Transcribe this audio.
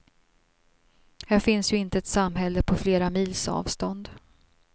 Här finns ju inte ett samhälle på flera mils avstånd.